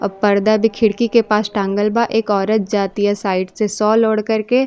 अ पर्दा भी खिड़की के पास टाँगल बा। एक औरत जातीया साइड से शाल ओड़ के।